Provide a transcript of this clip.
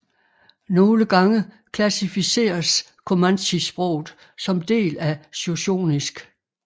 Nogle gange klassificeres comanchesproget som del af shoshonisk